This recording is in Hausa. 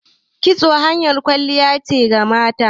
Kitso hanyar kwalliya ne ga mata